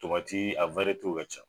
a ka ca